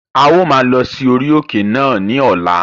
A ó maa lọ sí orí òkè náà ní ọ̀la